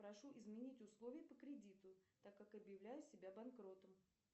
прошу изменить условия по кредиту так как объявляю себя банкротом